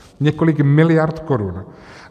Několik miliard korun.